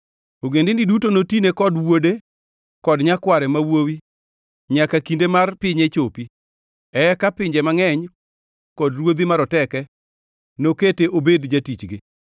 Ogendini duto notine kod wuode kod nyakware ma wuowi nyaka kinde mar pinye chopi; eka pinje mangʼeny kod ruodhi maroteke nokete obed jatichgi.